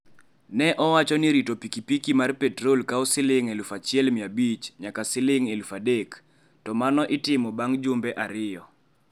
Ne owacho ni rito pikipiki mar petrol kawo Sh1,500 nyaka Sh3,000, to mano itimo bang' jumbe ariyo.